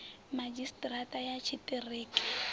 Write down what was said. madzhisi ṱira ṱa ya tshiṱiriki